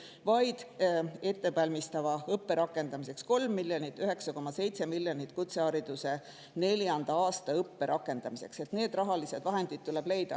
Ettevalmistava õppe rakendamiseks 3 miljonit ja 9,7 miljonit kutseõppe neljanda aasta rakendamiseks – need rahalised vahendid tuleb leida.